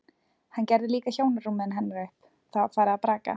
Hann gerði líka hjónarúmið hennar upp, það var farið að braka.